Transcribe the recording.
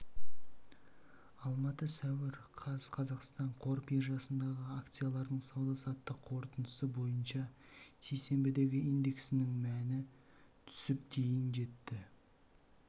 алматы сәуір қаз қазақстан қор биржасындағы акциялардың сауда-саттық қорытындысы бойынша сейсенбіде индексінің мәні түсіп дейін жетті